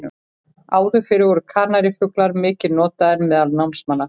Áður fyrr voru kanarífuglar mikið notaðir meðal námamanna.